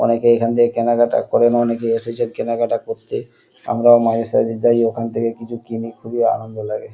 অনেকে এখন থেকে কেনাকাটা করে অনেকে এসেছেন কেনাকাটা করতে। আমরাও মাঝেসাঝে ওখানে যাই ওখান থেকে কিছু কিনি খুবই আনন্দ লাগে।